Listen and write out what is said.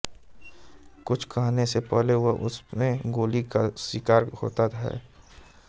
कुछ करने से पहले वह उसमे गोली का शिकार होता है